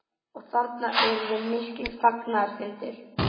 Og þarna urðu miklir fagnaðarfundir?